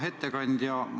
Hea ettekandja!